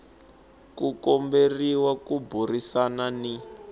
u komberiwa ku burisana ni